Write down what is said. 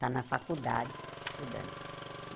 Está na faculdade, estudando.